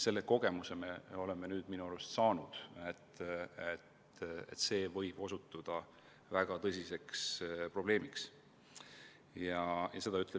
Selle kogemuse me oleme nüüd minu arvates saanud, et see võib osutuda väga tõsiseks probleemiks.